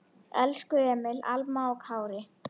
Elsku Emil, Alma og Kári.